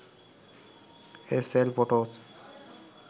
sl photos